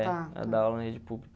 É. Ela dá aula na rede pública.